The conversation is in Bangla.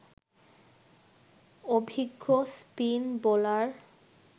অভিজ্ঞ স্পিন বোলার